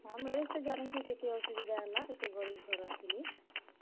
ହଁ, marriage ତ ଜାନିଛ କେତେ ଅସୁବିଧା ହେଲା କେତେ ଗରିବ ଘରର୍ ଥିଲେ।